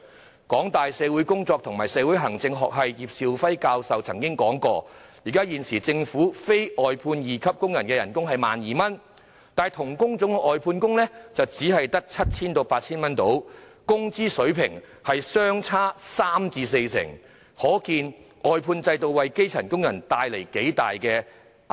香港大學社會工作及社會行政學系葉兆輝教授曾經指出，現時政府非外判二級工人的月薪是 12,000 元，但同一工種的外判工的月薪則只有約 7,000 元至 8,000 元，工資水平相差三成至四成，可見外判制度令基層工人受到多大壓榨。